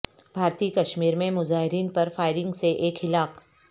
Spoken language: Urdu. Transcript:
بھارتی کشمیر میں مظاہرین پر فائرنگ سے ایک ہلاک